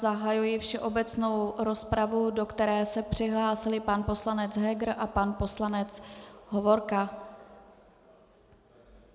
Zahajuji všeobecnou rozpravu, do které se přihlásili pan poslanec Heger a pan poslanec Hovorka.